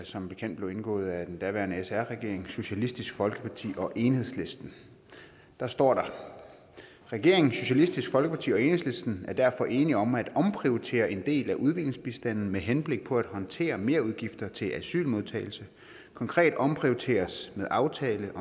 som bekendt blev indgået af den daværende sr regering socialistisk folkeparti og enhedslisten der står der regeringen socialistisk folkeparti og enhedslisten er derfor enige om at omprioritere en del af udviklingsbistanden med henblik på at håndtere merudgifter til asylmodtagelse konkret omprioriteres med aftale